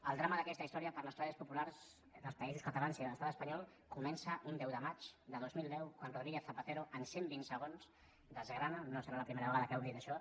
el drama d’aquesta història per a les classes populars dels països catalans i de l’estat espanyol comença un deu de maig de dos mil deu quan rodríguez zapatero en cent vint segons desgrana no serà la primera vegada que hem dit això